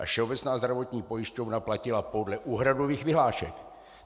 A Všeobecná zdravotní pojišťovna platila podle úhradových vyhlášek.